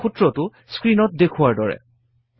আৰু সূত্ৰটো স্ক্ৰীণত দেখুওৱাৰ দৰে